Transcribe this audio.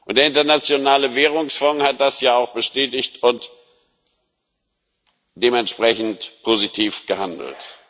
Der Internationale Währungsfonds hat das ja auch bestätigt und dementsprechend positiv gehandelt.